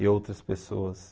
E outras pessoas.